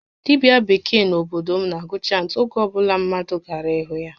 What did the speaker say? Dibia bekee n'obodo m na agụ chantị oge obula mmadụ gara ịhụ ya